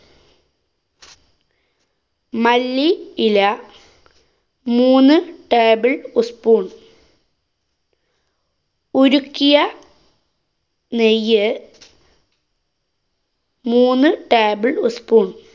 മല്ലി ഇല മൂന്നു table ഉസ് spoon. ഉരുക്കിയ നെയ്യ് മൂന്ന് table ഉസ് spoon.